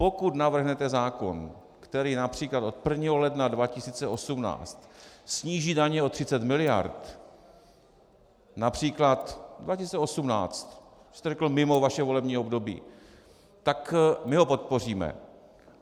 Pokud navrhnete zákon, který například od 1. ledna 2018 sníží daně o 30 miliard, například 2018, vy jste řekl mimo vaše volební období, tak my ho podpoříme.